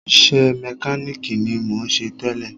Iṣẹ́ mẹkánìkì ni mò ń ṣe tẹ́lẹ̀.